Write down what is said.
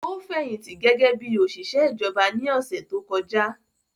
Ó fẹ̀yìntì gẹ́gẹ́ bí òṣìṣẹ́ ìjọba ní ọ̀sẹ̀ tó kọjá